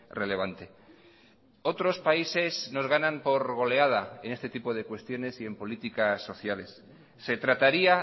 relevante otros países nos ganan por goleada en este tipo de cuestiones y en políticas sociales se trataría